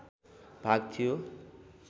भाग थियो